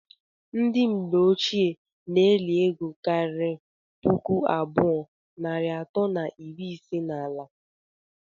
ndi mgbe ọchie na- eli ego kari pụkụ abụọ narị ato na iri ise na ala